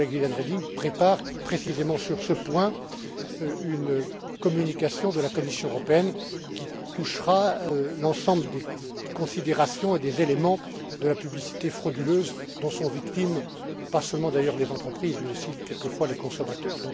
Notre collègue Viviane Reding prépare précisément sur ce point une communication de la Commission européenne qui touchera l'ensemble des considérations et des éléments de la publicité frauduleuse dont sont victimes non seulement d'ailleurs les entreprises, mais aussi quelquefois les consommateurs.